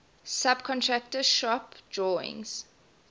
subcontractor shop drawings